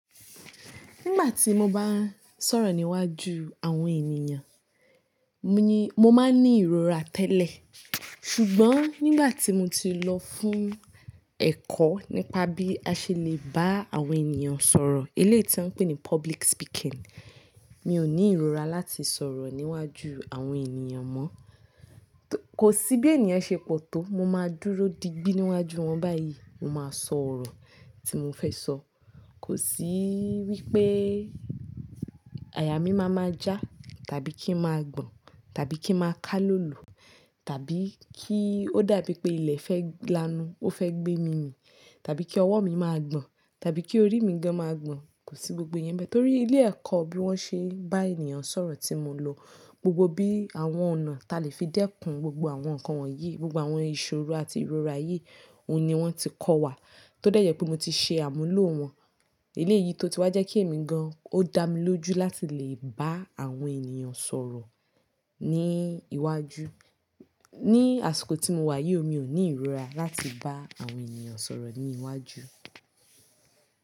Nígbà tí mo bá ń sọ̀rọ̀ níwájú àwọn ènìyàn, mo ní, mo máa ń ní ìrora tẹ́lẹ̀. Ṣùgbọ́n nígbà tí mo ti lọ fún ẹ̀kọ́ nípa bí a ṣe lè bá àwọn ènìyàn sọ̀rọ̀, eléyìí tí wọ́n ń pè ní public speaking, mi ò ní ìrora láti sọ̀rọ̀ níwájú àwọn ènìyàn mọ́. Kò sí bí ènìyàn ṣe pọ̀ tó, mo máa dúró di gbì níwájú wọn báyìí, mo máa sọ ọ̀rọ̀ tí mo fẹ́ sọ. Kò sí wí pé àyà mí máa ma já tàbí kí ń máa gbọ̀n tàbí kí ń máa ká lọ́lùú tàbí kí ó dàbí pé ilẹ̀ fẹ́ lanú, ó fẹ́ gbé mi mì tàbí kí ọwọ́ mi máa gbọ̀n tàbí kí orí mi gan máa gbọ̀n. Kò sí gbogbo ìyẹn mbẹ́ torí ilé ẹ̀kọ́ bí wọ́n ṣe bá ènìyàn sọ̀rọ̀ tí mo lọ, gbogbo bí àwọn ọ̀nà ta lè fi dẹ́kun gbogbo àwọn nǹkan wọ̀nyí, gbogbo àwọn ìṣòro àti ìrora yìí, òun ni wọ́n ti kọ́ wa. Tó dẹ́yẹ̀ pé mo ti ṣe àmúlò wọn. Eléyìí tó ti wá jẹ́ kí èmi gan, ó dá mi lójú láti lè bá àwọn ènìyàn sọ̀rọ̀ ní iwájú. Ní àsìkò tí mo wà yìí ò mi ò ní ìrora láti bá àwọn ènìyàn sọ̀rọ̀ ní iwájú.